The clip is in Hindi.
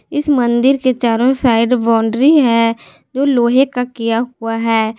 इस मंदिर के चारों साइड बाउंड्री है जो लोहे का किया हुआ है।